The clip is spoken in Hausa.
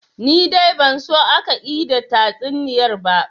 Ni dai ban so aka ida tatsuniyar ba